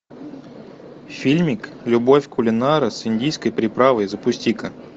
фильмик любовь кулинара с индийской приправой запусти ка